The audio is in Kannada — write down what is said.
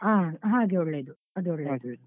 ಹಾ ಹಾಗೆ ಒಳ್ಳೆದು ಅದು ಒಳ್ಳೇದು .